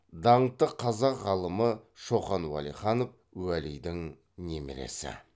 даңқты қазақ ғалымы шоқан уәлиханов уәлидің немересі